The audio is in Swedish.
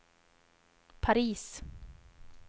Paris